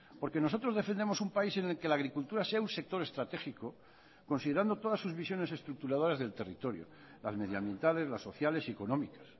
porque nosotros defendemos un país en el que la agricultura sea un sector estratégico considerando todas sus visiones estructuradoras del territorio las medioambientales las sociales y económicas